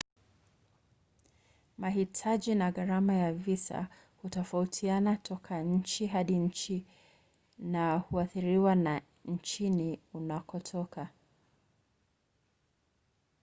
mahitaji na gharama ya visa hutofautiana toka nchi hadi nchi na huathiriwa na nchini unakotoka